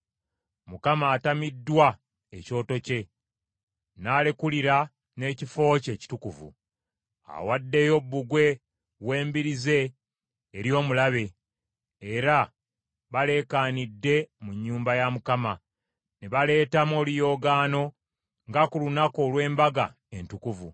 Mukama atamiddwa ekyoto kye, n’alekulira n’ekifo kye ekitukuvu. Awaddeyo bbugwe w’embiri ze eri omulabe; era baleekaanidde mu nnyumba ya Mukama , ne baleetamu oluyoogaano nga ku lunaku olw’embaga entukuvu.